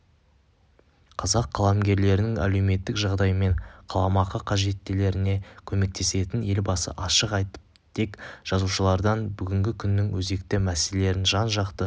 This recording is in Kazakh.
қазақ қаламгерлерінің әлеуметтік жағдайымен қаламақы қажеттіліктеріне көмектесетінін елбасы ашық айтыптытек жазушылардан бүгінгі күннің өзекті мәселелерін жан-жақты